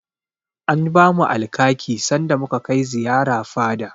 An bamu Alkaki sanda muka kai ziyara fada.